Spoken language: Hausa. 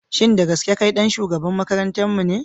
Shin da gaske kai ɗan shugaban makarantarmu ne?